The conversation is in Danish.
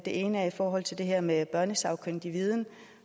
ene er i forhold til det her med børnesagkyndig viden